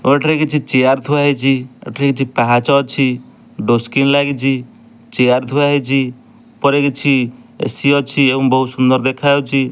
କିଛି ଚିଆର ଥୁଆ ହେଇଛି ଏଠି କିଛି ପାହାଚ ଅଛି ଡୋର ସ୍କ୍ରିନ ଲାଗିଚି ଥୁଆ ହେଇଛି ଉପରେ କିଛି ଏ_ସି ଅଛି ଏବଂ ବହୁତ ସୁନ୍ଦର ଦେଖାଯାଉଛି।